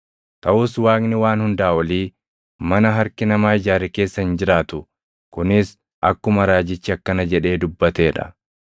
“Taʼus Waaqni Waan Hundaa Olii mana harki namaa ijaare keessa hin jiraatu; kunis akkuma raajichi akkana jedhee dubbatee dha: